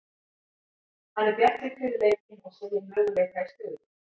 Hann er bjartsýnn fyrir leikinn og segir möguleika í stöðunni.